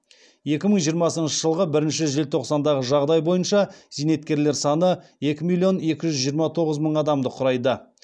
екі мың жиырмасыншы жылғы бірінші желтоқсандағы жағдай бойынша зейнеткерлер саны екі миллион екі жүз жиырма тоғыз мың адамды құрайды